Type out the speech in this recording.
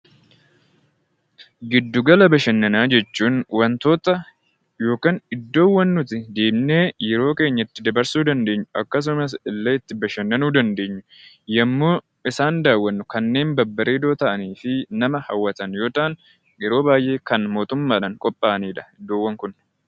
Giddugala bashannanaa jechuun wantoota yookiin iddoowwan nuti deemnee yeroo keenya itti dabarsuu dandeenyu akkasumas illee itti bashannanuu dandeenyu yommuu isaan daawwannu kanneen babbareedoo ta'anii fi nama hawwatan yoo ta'an yeroo baay'ee kan mootummaa dhaan qophaa'ani dha iddoowwan kun.